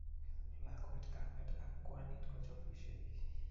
Lakwet kamet ak kwanit kochopisiei